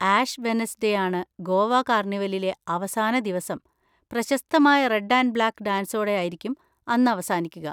Ash Wednesday ആണ് ഗോവ കാർണിവലിലെ അവസാന ദിവസം. പ്രശസ്തമായ റെഡ് ആൻഡ് ബ്ളാക്ക് ഡാൻസോടെ ആയിരിക്കും അന്ന് അവസാനിക്കുക.